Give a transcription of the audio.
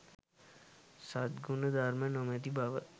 සත්ගුණ ධර්ම නොමැති බව